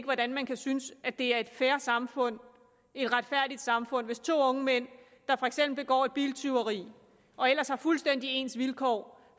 hvordan man kan synes at det er et fair samfund et retfærdigt samfund hvis to unge mænd der for eksempel begår et biltyveri og ellers har fuldstændig ens vilkår